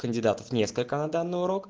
кандидатов несколько на данный урок